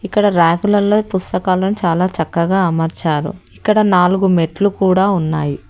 ఇక్కడ ర్యాకులలో పుస్తకాలు చాలా చక్కగా అమర్చారు ఇక్కడ నాలుగు మెట్లు కూడా ఉన్నాయి.